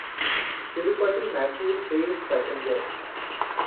तिरुपति मैसूर तेज़ पैसेंजर